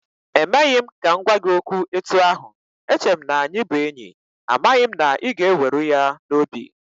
E meghị m ka m gwa gị okwu etu ahụ, eche m na-anyị bụ enyi, amaghị m na ị ga-eweru ya n'obi